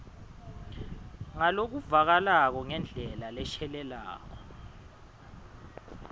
ngalokuvakalako ngendlela leshelela